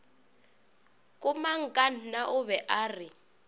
komangkanna o be a re